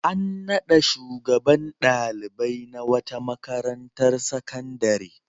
An naɗa shugaban ɗalibai na wata makarantar sakandare.